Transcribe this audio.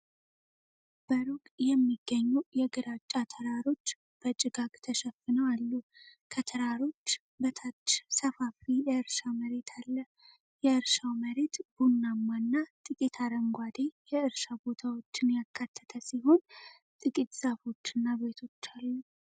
በሩቅ የሚገኙ የግራጫ ተራሮች በጭጋግ ተሸፍነው አሉ። ከተራሮች በታች ሰፋፊ የእርሻ መሬት አለ። የእርሻው መሬት ቡናማና ጥቂት አረንጓዴ የእርሻ ቦታዎችን ያካተተ ሲሆን፣ ጥቂት ዛፎችና ቤቶች አሉ።